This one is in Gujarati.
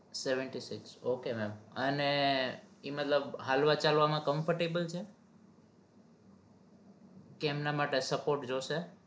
seventy six ok mem અને ઈ મતલબ હાલવા ચાલવા comfortable છે કે એમના માટે support જોશે?